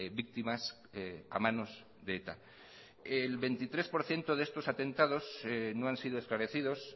víctimas a manos de eta el veintitrés por ciento de estos atentados no han sido esclarecidos